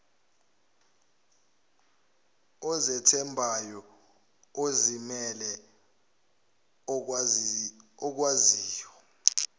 ozethembayo ozimele okwaziyo